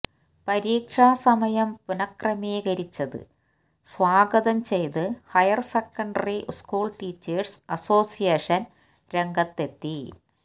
പരീക്ഷാ സമയം പുനഃക്രമീകരിച്ചത് സ്വാഗതം ചെയ്ത് ഹയർസെക്കൻഡറി സ്കൂൾ ടീച്ചേഴ്സ് അസോസിയേഷൻ രംഗത്തെത്തി